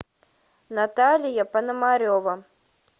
наталья пономарева